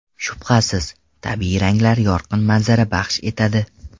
Shubhasiz, tabiiy ranglar yorqin manzara baxsh etadi.